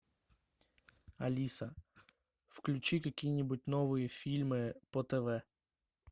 алиса включи какие нибудь новые фильмы по тв